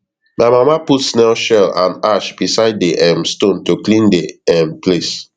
my mama put snail shell and ash beside di um stone to clean di um place